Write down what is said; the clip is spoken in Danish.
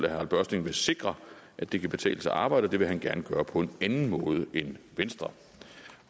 harald børsting vil sikre at det kan betale sig at arbejde og det vil han gerne gøre på en anden måde end venstre